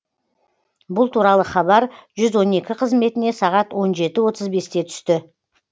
бұл туралы хабар жүз он екі қызметіне сағат он жеті отыз бесте түсті